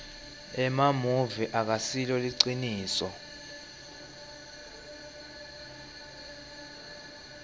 emamuvi akasilo liciniso